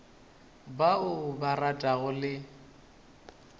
ba o ba ratago le